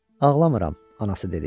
Ağlamıram, anası dedi.